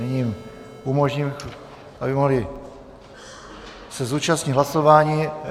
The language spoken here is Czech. Nyní jim umožním, aby se mohli zúčastnit hlasování.